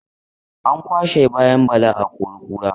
An kwashai kayan Bala a akori-kura.